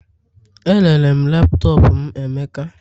Erere m laptop m emeka